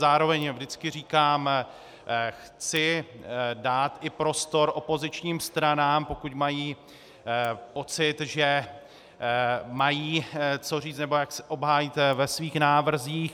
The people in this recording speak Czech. Zároveň vždycky říkám - chci dát i prostor opozičním stranám, pokud mají pocit, že mají co říct nebo jak se obhájit ve svých návrzích.